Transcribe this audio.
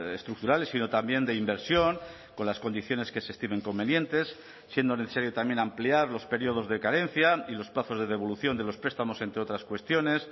estructurales sino también de inversión con las condiciones que se estimen convenientes siendo necesario también ampliar los periodos de carencia y los plazos de devolución de los prestamos entre otras cuestiones